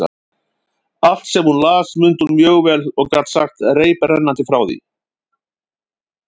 Allt, sem hún las, mundi hún mjög vel og gat sagt reiprennandi frá því.